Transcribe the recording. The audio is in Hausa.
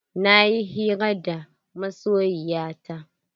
Na yi hira da masoyiya ta.